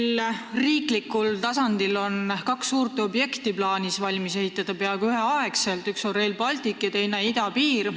Meil on riiklikul tasandil plaanis ehitada peaaegu üheaegselt valmis kaks suurt objekti: üks on Rail Baltic ja teine on idapiir.